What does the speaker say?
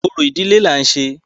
Orò ìdílé là ń ṣe.